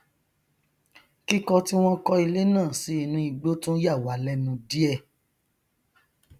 kíkọ tí wọn kọ ilé náà sí inú igbó tún yàwá lẹnù díẹ